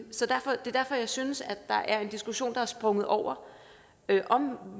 er derfor jeg synes at der er en diskussion der er sprunget over nemlig om